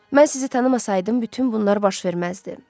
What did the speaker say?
Mən sizi tanımasaydım, bütün bunlar baş verməzdi.